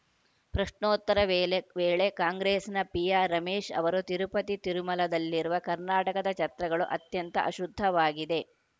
ಪ್ರಶ್ನೋತ್ತರ ವೇಳೆ ವೇಳೆ ಕಾಂಗ್ರೆಸ್‌ನ ಪಿಆರ್‌ ರಮೇಶ್‌ ಅವರು ತಿರುಪತಿತಿರುಮಲದಲ್ಲಿರುವ ಕರ್ನಾಟಕದ ಛತ್ರಗಳು ಅತ್ಯಂತ ಅಶುದ್ಧವಾಗಿವೆ